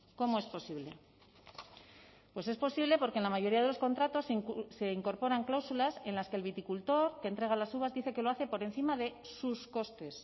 cómo es posible pues es posible porque en la mayoría de los contratos se incorporan cláusulas en las que el viticultor que entrega las uvas dice que lo hace por encima de sus costes